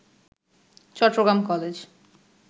Chittagong college